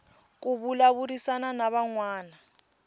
ku vulavurisana na van wana